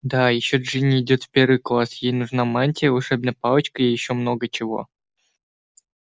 да ещё джинни идёт в первый класс ей нужна мантия волшебная палочка и ещё много чего